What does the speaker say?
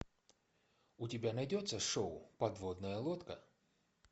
у тебя найдется шоу подводная лодка